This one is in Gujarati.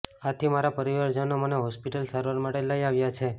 આથી મારા પરિવારજનો મને હોસ્પિટલ સારવાર માટે લઇ આવ્યા છે